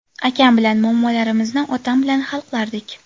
Akam bilan muammolarimizni otam bilan hal qilardik.